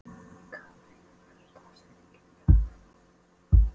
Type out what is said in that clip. Katharina, hver er dagsetningin í dag?